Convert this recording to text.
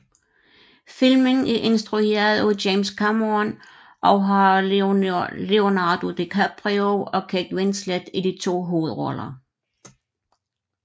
Filmen er instrueret af James Cameron og har Leonardo DiCaprio og Kate Winslet i de to hovedroller